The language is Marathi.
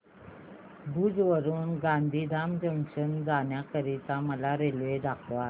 भुज वरून गांधीधाम जंक्शन जाण्या करीता मला रेल्वे दाखवा